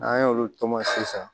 N'an y'olu tɔmɔ sisan